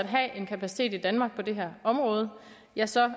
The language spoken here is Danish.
have en kapacitet i danmark på det her område ja så